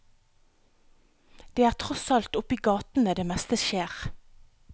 Det er tross alt i oppe i gatene det meste skjer.